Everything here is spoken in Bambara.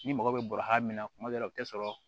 Ni mɔgɔ bɛ bɔ ha min na kuma dɔ la u tɛ sɔrɔ